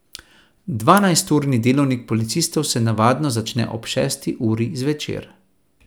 Dvanajsturni delovnik policistov se navadno začne ob šesti uri zvečer.